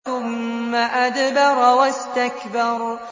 ثُمَّ أَدْبَرَ وَاسْتَكْبَرَ